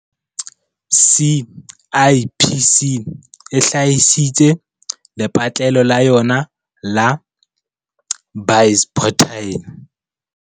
CIPC e hlahisitse lepatlelo la yona la BizPortal